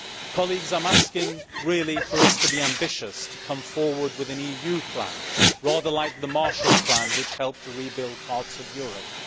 Colleagues, I am asking really for us to be ambitious and to come forward with an EU plan rather like the Marshal Plan which helped to rebuild parts of Europe.